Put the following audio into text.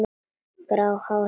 Grátt hár hennar er liðað.